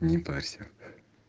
не парься